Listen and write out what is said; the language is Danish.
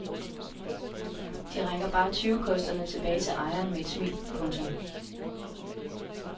De rækker bare tyvekosterne tilbage til ejeren med et smil. punktum